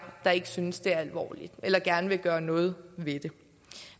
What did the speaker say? der ikke synes det er alvorligt eller ikke gerne vil gøre noget ved det